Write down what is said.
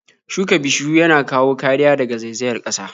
Shuka bishiyu yana kawo kariya daga zaizayar ƙasa.